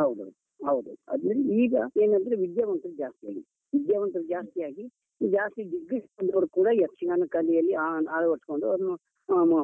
ಹೌದು ಹೌದು, ಹೌದು. ಅದನ್ ಈಗ ಏನಂದ್ರೆ ವಿದ್ಯಾವಂತರು ಜಾಸ್ತಿ ಆಗಿದೆ. ವಿದ್ಯಾವಂತರು ಜಾಸ್ತಿ ಆಗಿ, ಈಗ ಜಾಸ್ತಿ degree ಕಲ್ತವರು ಕೂಡ ಯಕ್ಷಗಾನ ಕಲೆಯಲ್ಲಿ ಆ ಆವರಿಸ್ಕೊಂಡು ಅವರು